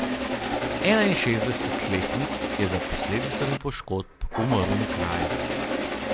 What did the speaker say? Enainšestdesetletnik je za posledicami poškodb umrl na kraju.